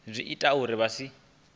zwi ita uri vha si